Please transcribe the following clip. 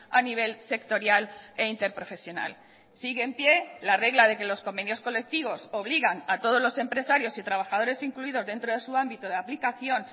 a nivel sectorial e interprofesional sigue en pie la regla de que los convenios colectivos obligan a todos los empresarios y trabajadores incluidos dentro de su ámbito de aplicación